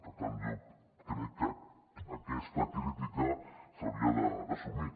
per tant jo crec que aquesta crítica s’hauria d’assumir